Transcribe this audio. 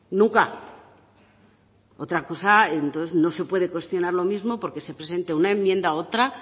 nunca otra cosa entonces no se puede cuestionar lo mismo porque se presente una enmienda u otra